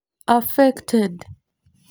Affected.